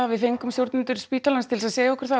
við fengum stjórnendur spítalans til að segja okkur það að